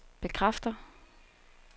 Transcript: bekræfter